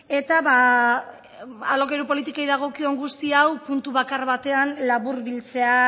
eta alokairu politikei dagokion guzti hau puntu bakar batean laburbiltzea